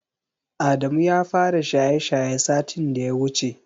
Adamu ya fara shaye-shaye satin da ya wuce.